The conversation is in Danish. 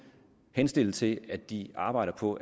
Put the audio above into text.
henstille til at de arbejder på